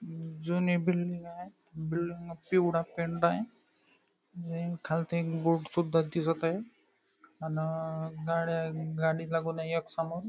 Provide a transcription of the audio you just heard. जुनी बिल्डिंग आहे बिल्डिंग ला पिवळा पेंट आहे आणि खालती बोर्ड दिसत आहे अन गाड्या गाडी लागून आहे एक समोर.